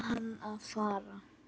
Bað hann að fara.